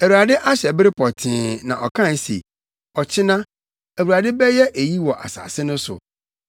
Awurade ahyɛ bere pɔtee na ɔkae se, Ɔkyena, Awurade bɛyɛ eyi wɔ asase no so.